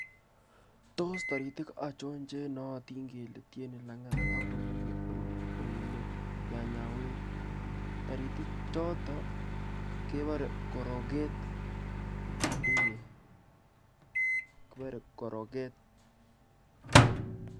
Tos taritik achon che nootin kele tieni langat ak komenye nyanyawet. Taritichoto kebore koreget. Eeh! Kibore koroget.